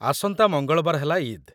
ଆସନ୍ତା ମଙ୍ଗଳବାର ହେଲା ଇଦ୍‌ ।